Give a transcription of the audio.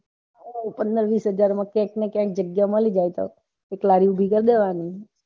પંદર વિશ્હાઝાર માં ક્યાંક ને ક્યાંક જગ્યા મળી જાય તો એક લારી